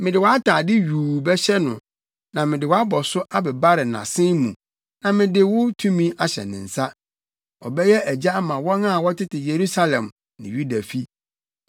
Mede wʼatade yuu bɛhyɛ no na mede wʼabɔso abebare nʼasen mu na mede wo tumi ahyɛ ne nsa. Ɔbɛyɛ agya ama wɔn a wɔtete Yerusalem ne Yuda fi.